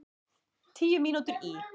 Tíu mínútur í